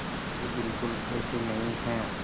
वे बिल्कुल ऐसे नहीं हैं